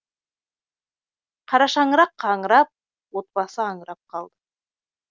қара шаңырақ қаңырап отбасы аңырап қалды